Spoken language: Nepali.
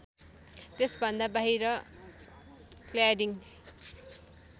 त्यसभन्दा बाहिर क्ल्याडिङ